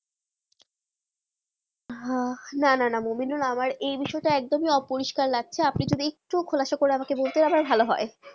হ্যাঁ না না মমিদুল আমার যে বিষয় টা একদম হি অপরিষ্কার লাগছে আপনি কি একটু খুলাসা করে জিগেস করলে ভালো হয়ে